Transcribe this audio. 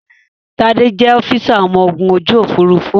Tádé jẹ́ ọ́físà ọmọ ogun ojú Òfurufú